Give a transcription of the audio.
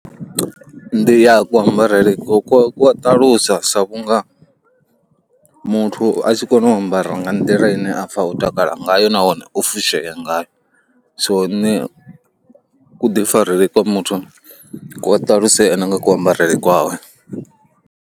Ndi ya kuambarele ku ku ku ṱalusa sa vhunga muthu a tshi kona u ambara nga nḓila ine a pfa o takala ngayo nahone o fushea ngayo so nṋe kuḓifarele kwa muthu ku a ṱalusea na nga kuambarele kwawe.